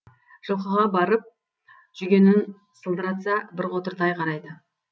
жылқыға барып жүгенін сылдыратса бір қотыр тай қарайды